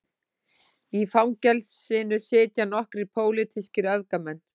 Í fangelsinu sitja nokkrir pólitískir öfgamenn